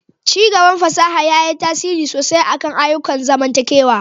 Ci gaban fasaha ya yi tasiri sosai kan ayyukan zamantakewa.